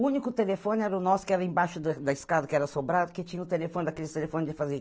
O único telefone era o nosso, que era embaixo da da escada, que era sobrado, que tinha o telefone daquele telefone de fazer